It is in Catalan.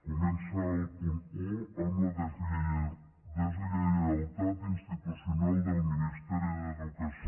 comença el punt un amb la deslleialtat institucional del ministeri d’educació